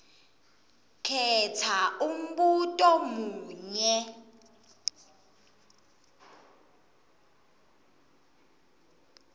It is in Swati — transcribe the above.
khetsa umbuto munye